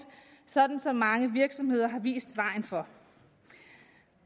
sådan som mange virksomheder har vist vejen for